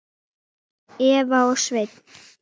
Eva og Sveinn.